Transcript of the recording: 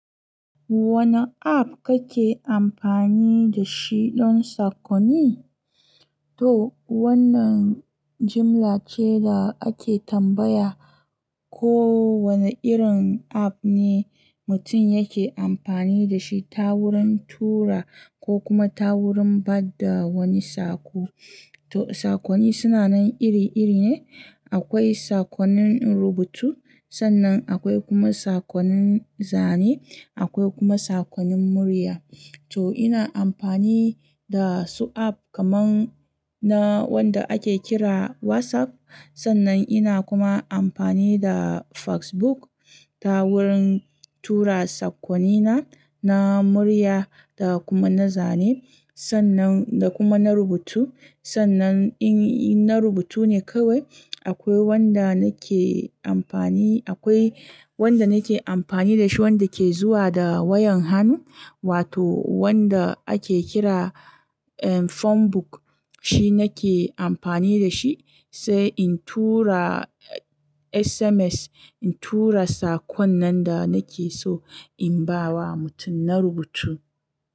Wane app kake amfani da shi don sakonni? To wannan jimla ce da ake tambaya ko wane irin app ne mutum yake amfani da shi ta wurin tura ko kuma ta wurin ba da wani sako. To sakonni sunanan iri-iri ne. Akwai sakonnin rubutu, sannan akwai kuma sakonnin zane, akwai kuma sakonnin murya. To ina amfani da su app kamar na wanda ake kira WhatsApp. Sannan ina kuma amfani da Facebook ta wurin tura sakonnina na murya da kuma na zane sannan da kuma na rubutu. Sannan in na rubutu ne kawai akwai wanda nake amfani, akwai wanda nake amfani da shi wanda ke zuwa da wayan hannu wato wanda ake kira, eh, phone book shi nake amfani da shi sai in tura SMS, in tura sakon nan da nake so in ba wa mutum na rubutu.